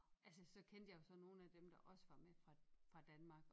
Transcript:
Altså så kendte jeg jo så nogen af dem der også var med fra fra Danmark og